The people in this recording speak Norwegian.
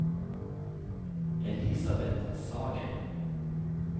Elisabeth Sagen